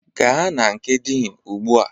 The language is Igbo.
Gaa na nke Dean ugbu a!